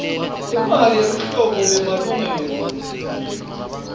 imali yeluhlolo lwemalungelo